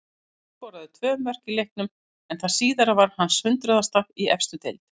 Tryggvi skoraði tvö mörk í leiknum en það síðara var hans hundraðasta í efstu deild.